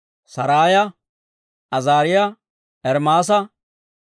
Saraaya, Azaariyaa, Ermaasa,